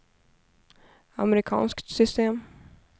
amerikanskt system